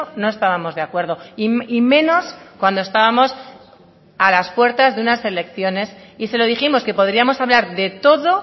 no estábamos de acuerdo y menos cuando estábamos a las puertas de unas elecciones y se lo dijimos que podríamos hablar de todo